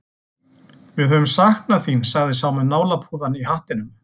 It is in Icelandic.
Við höfum saknað þín, sagði sá með nálapúðann í hattinum.